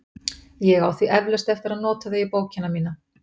Ég á því eflaust eftir að nota þau í bókina mína.